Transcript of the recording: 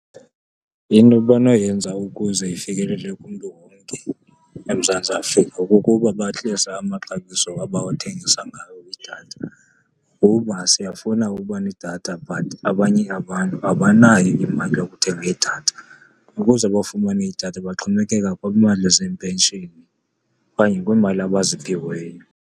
Into abanoyenza ukuze ifekelele kumntu wonke eMzantsi Afrika kukuba bahlise amaxabiso abawathengisa ngawo idatha, kuba siyafuna uba nedatha but abanye abantu abanayo imali yokuthenga idatha. Ukuze bafumane idatha baxhomekeka kwiimali zepenshini okanye kwiimali abaziphiweyo.